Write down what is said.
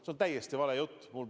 See on täiesti vale jutt.